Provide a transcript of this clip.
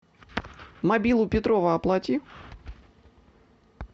мобилу петрова оплати